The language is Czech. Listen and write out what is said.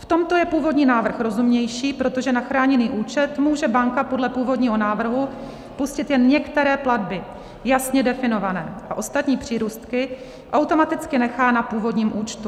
V tomto je původní návrh rozumnější, protože na chráněný účet může banka podle původního návrhu pustit jen některé platby, jasně definované, a ostatní přírůstky automaticky nechá na původním účtu.